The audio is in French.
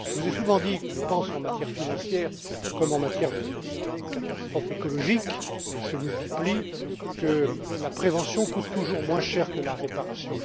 Je vous ai souvent dit que, en matière financière comme en matière de catastrophe écologique elles se multiplient la prévention coûte toujours moins cher que la réparation.